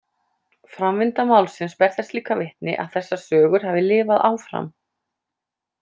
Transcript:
Framvinda málsins ber þess líka vitni að þessar sögur hafi lifað áfram.